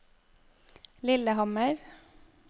Lillehammer